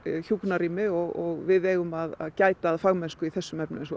hjúkrunarrými og við eigum að gæta að fagmennsku í þessum efnum eins og